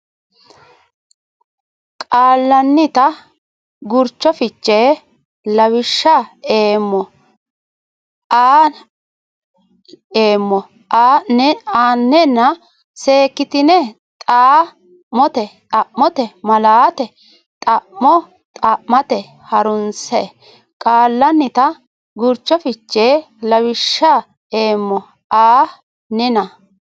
qaallannita gurcho fiche lawishsha eemmo a nena seekkitine Xa mote malaate xa mo xa mate ha runse qaallannita gurcho fiche lawishsha eemmo a nena.